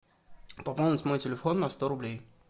пополнить мой телефон на сто рублей